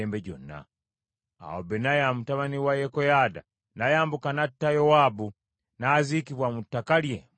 Awo Benaya mutabani wa Yekoyaada n’ayambuka n’atta Yowaabu, n’aziikibwa mu ttaka lye mu ddungu.